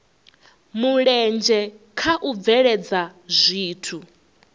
mulenzhe kha u bveledza zwithu